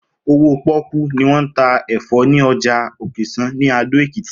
Owó pó̩kú ni wó̩n ta è̩fó̩ ní o̩jà Òkès̩á ní Ado-Èkìtì